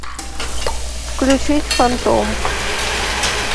включить фантом